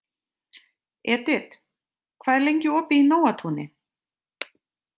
Edit, hvað er lengi opið í Nóatúni?